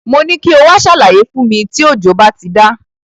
Mo ní kí o wá ṣàlàyé fún mi tí òjò bá ti dá.